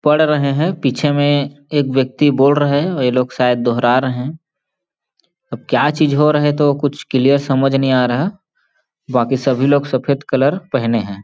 पढ़ रहे है पीछे में एक व्यक्ति बोल रहे है और ये लोग शायद दोहरा रहे है अब क्या चीज़ हो रहे है तो कुछ क्लियर समझ नहीं आ रहा बाकि सभी लोग सफ़ेद कलर पहने हैं।